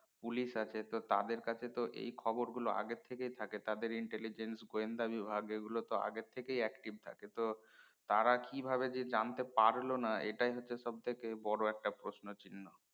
Police আছে তো তাদের কাছে তো এই খবর গুলো আগে থেকে থাকে তাদের intelligent গয়েন্দা বিভাগ এই গুলো তো আগে থেকেই তো active থাকে তো তারা কিভাবে জানতে পারলোনা এইটাই হচ্ছে সবথেকে বড় একটা প্রশ্ন চিহ্ন?